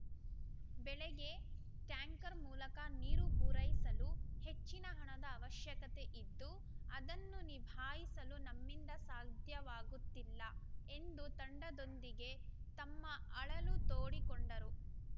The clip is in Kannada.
ಬೆಳೆಗೆ ಟ್ಯಾಂಕರ್‌ ಮೂಲಕ ನೀರು ಪೂರೈಸಲು ಹೆಚ್ಚಿನ ಹಣದ ಅವಶ್ಯಕತೆ ಇದ್ದು ಅದನ್ನು ನಿಭಾಯಿಸಲು ನಮ್ಮಿಂದ ಸಾಧ್ಯವಾಗುತ್ತಿಲ್ಲ ಎಂದು ತಂಡದೊಂದಿಗೆ ತಮ್ಮ ಅಳಲು ತೋಡಿಕೊಂಡರು